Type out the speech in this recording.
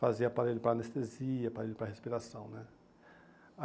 Fazia aparelho para anestesia, aparelho para respiração né.